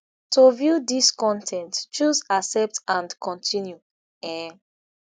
to view dis con ten t choose accept and continue um